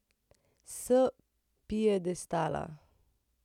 S piedestala!